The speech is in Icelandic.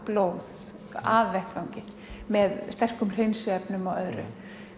blóð af vettvangi með sterkum hreinsiefnum og öðru